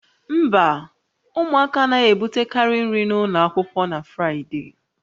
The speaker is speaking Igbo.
Mba, ụmụaka anaghị ebutekarị nri n'ụlọ akwụkwọ na Fraịde